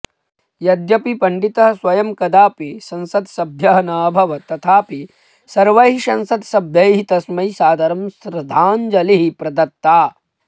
यद्यपि पण्डितः स्वयं कदापि संसद्सभ्यः न अभवत् तथापि सर्वैः संसद्सभ्यैः तस्मै सादरं श्रद्धाञ्जलिः प्रदत्ता